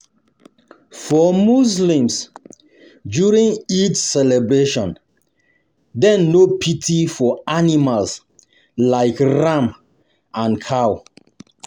For muslims, during Eid celebrations dem no pity for animals like ram and cow.